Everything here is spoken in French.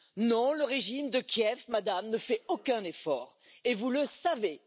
Non, le régime de Kiev, Madame, ne fait aucun effort et vous le savez!